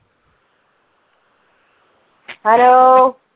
hello